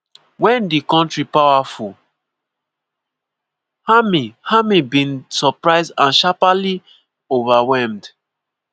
wen di kontri powerful army army bin suprised and sharparly overwhelmed.